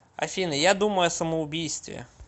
афина я думаю о самоубийстве